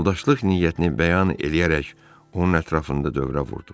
Yoldaşlıq niyyətini bəyan eləyərək onun ətrafında dövrə vurdu.